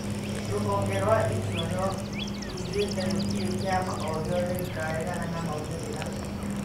Rũhonge rwa ithũrano rugĩte gũtire kĩama ogĩothe gĩkaregana na maumĩrĩra